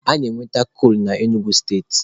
A na-egwuta kolu na Enugu steeti